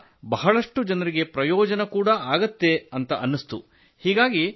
ಅದರಿಂದ ಬಹಳಷ್ಟು ಜನರಿಗೆ ಪ್ರಯೋಜನವಾಗುತ್ತದೆ ಎಂದು ಅನ್ನಿಸಿತು